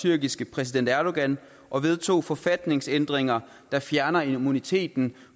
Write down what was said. tyrkiske præsident erdogan og vedtog forfatningsændringer der fjerner immuniteten